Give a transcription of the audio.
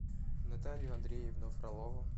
наталью андреевну фролову